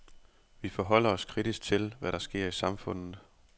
Vi forholder os kritisk til, hvad der sker i samfundet.